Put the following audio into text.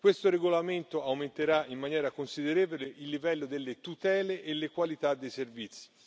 Questo regolamento aumenterà in maniera considerevole il livello delle tutele e la qualità dei servizi.